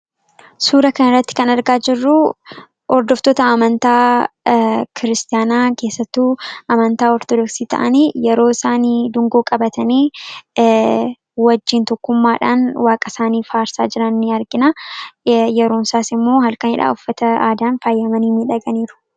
Suuraa kanarratti kan argaa jirru hordoftoota amantaa kiristiyaanaa, keessattuu amantaa Ortodooksii ta'anii yeroo isaan dungoo qabatanii wajjin tokkummaadhaan waaqa isaanii faarsaa jiran ni argina. Yereon isaas immoo halkanidha. Uffata aadaan faayamanii jiru.